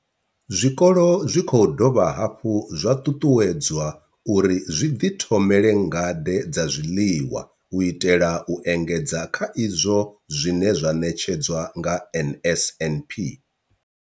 Zwikolo zwi khou dovha hafhu zwa ṱuṱuwedzwa uri zwi ḓithomele ngade dza zwiḽiwa u itela u engedza kha izwo zwine zwa ṋetshedzwa nga NSNP.